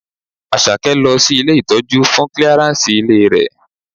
Àṣàkẹ́ lọ sí ilé ìtọ́jú fún clearance ìlera rẹ̀.